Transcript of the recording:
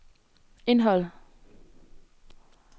indhold